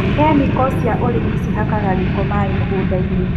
Kĩmĩko cia ũrĩmi cihakaga gĩko maĩ mũgundainĩ.